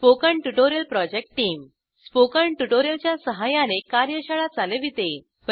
spoken tutorial project team spoken tutorial च्या सहाय्याने कार्यशाळा चालविते